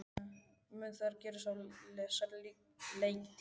Mun það gerast á þessari leiktíð?